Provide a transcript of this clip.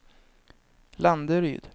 Landeryd